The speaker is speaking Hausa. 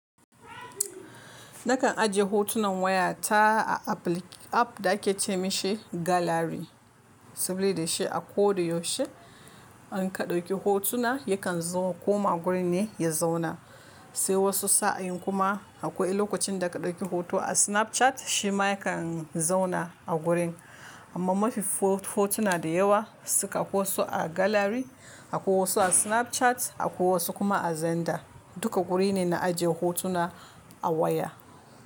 Nakan ajiye hotunan waya ta a app da ake ce mai shi gallery, saboda shi a ko da yaushe in ka ɗauki hotuna yakan koma gurin ne ya zauna. Sai wasu sa'in kuma akwai lokacin da ka ɗauki hoto a Snapchat shi ma yakan zauna a gurin. Amma mafi hotuna da yawa suka koso a gallery, akwai wasu a Snapchat, akwai wasu kuma a Zander. Duka wuri ne na ajiye hotuna a waya.